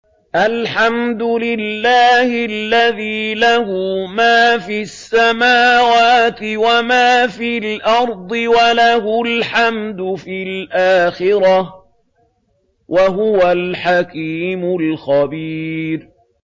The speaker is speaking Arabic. الْحَمْدُ لِلَّهِ الَّذِي لَهُ مَا فِي السَّمَاوَاتِ وَمَا فِي الْأَرْضِ وَلَهُ الْحَمْدُ فِي الْآخِرَةِ ۚ وَهُوَ الْحَكِيمُ الْخَبِيرُ